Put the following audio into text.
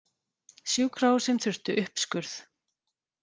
Sjúkrahúsin þurftu uppskurð